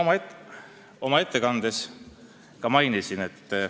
Ma oma ettekandes ka seda mainisin.